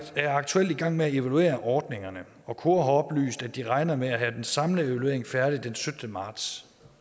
er aktuelt i gang med at evaluere ordningerne og kora har oplyst at de regner med at have den samlede evaluering færdig den syttende marts